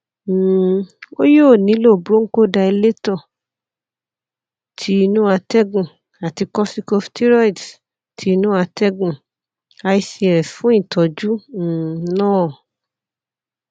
um o yoo nilo bronchodilator ti inu atẹgun ati corticosteroids ti inu atẹgun ics fun itọju um naa